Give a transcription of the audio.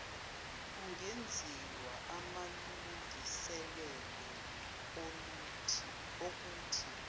kungenziwa aamlungiselelo okuthi